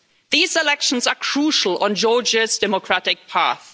These elections are crucial to Georgia's democratic path.